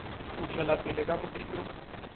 o tšwela pele ka modiro